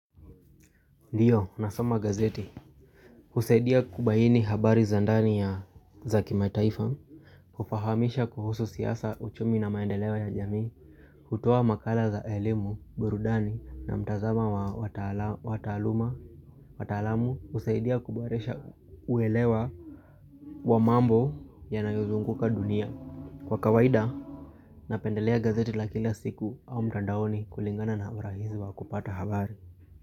Ndio, nasoma gazeti, husaidia kubaini habari za ndani ya za kimataifa, kufahamisha kuhusu siasa, uchumi na maendeleo ya jamii, hutoa makala za elimu, burudani na mtazamo wa taaluma, wataalamu, husaidia kuboresha uelewa wa mambo yanayozunguka dunia. Kwa kawaida, napendelea gazeti la kila siku au mtandaoni kulingana na urahisi wa kupata habari.